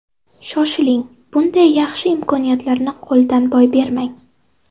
Shoshiling, bunday yaxshi imkoniyatlarni qo‘ldan boy bermang!